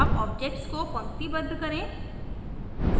अब objects को पंक्तिबद्ध करें